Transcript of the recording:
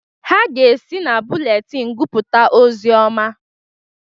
Ha ga-esi na bụletin gụpụta ọzioma